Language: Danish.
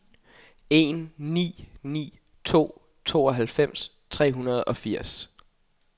en ni ni to tooghalvfems tre hundrede og firs